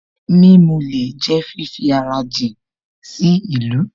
Mímulẹ̀ jẹ́ fífi ara jìn sí ìlú